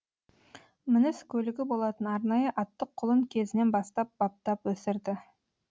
мініс көлігі болатын арнайы атты құлын кезінен бастап баптап өсірді